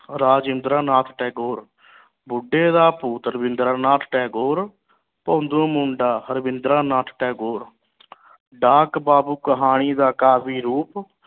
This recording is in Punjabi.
ਰਾਵਿੰਦਰਾ ਨਾਥ ਟੈਗੋਰ ਬੁੱਢੇ ਦਾ ਭੂਤ ਰਾਵਿੰਦਰਾ ਨਾਥ ਟੈਗੋਰ ਰਾਵਿੰਦਰਾ ਨਾਥ ਟੈਗੋਰ ਡਾਕ ਬਾਬੂ ਕਹਾਣੀ ਦਾ ਕਾਫੀ ਰੂਪ